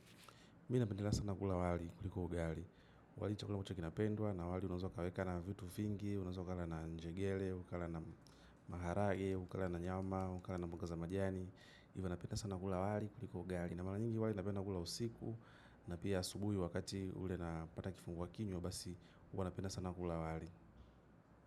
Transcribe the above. Mii nabendelea sana gula wali kuliko ugali. Wali chakula mocha kinapendwa na wali unazwa kaweka na vitu fingi, unazwa kala na njegele, unazwa kala na maharage, unazwa kala na nyama, unazwa kala na mboga za majani. Ivo napenda sana gula wali kuliko ugali. Na malanyingi wali napenda gula usiku na pia subuhi wakati ule napata kifunguwa kinywa au basi huwa napenda sana gula wali.